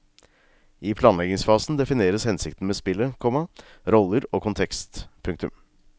I planleggingsfasen defineres hensikten med spillet, komma roller og kontekst. punktum